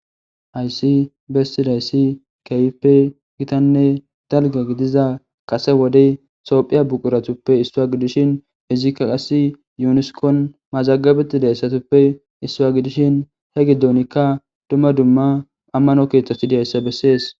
haysi messilayssi kayipe gitanne dalga gidiza kase wodey soophiya buquratuppe issua gidishin hizikka qas yuniskon mazagabeti dayssatuppe issua gidishin he giddonikka dumma dumma ammano keeththasidiyayssa bessees